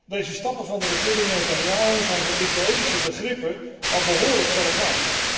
Deze stappen van de regering Netanjahu zijn voor Israëlische begrippen al behoorlijk verregaand.